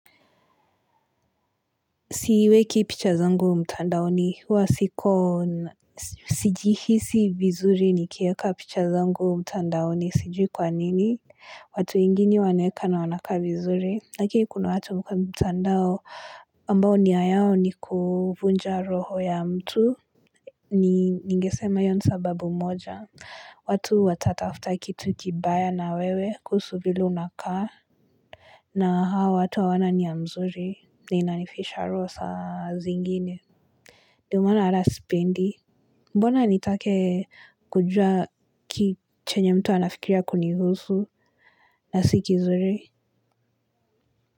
Siweki picha zangu mtandaoni hua siko sijihisi vizuri nikieka picha zangu mtandaoni sijui kwa nini. Watu ingini waneka na wanaka vizuri. Aki kuna watu huko mtandao ambao nia yao ni kuvunja roho ya mtu. Ningesema hiyo ni sababu moja. Watu watatafuta kitu kibaya na wewe kuhusu vile unakaa. Na hawa watu hawana nia mzuri na inanifisha roho saa zingine ndiyo maana hata sipendi mbona nitake kujua chenye mtu anafikiria kunihusu na si kizuri.